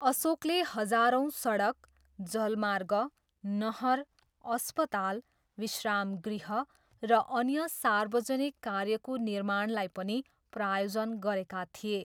अशोकले हजारौँ सडक, जलमार्ग, नहर, अस्पताल, विश्रामगृह र अन्य सार्वजनिक कार्यको निर्माणलाई पनि प्रायोजन गरेका थिए।